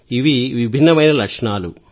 ఇవి విభిన్నమైన లక్షణాలు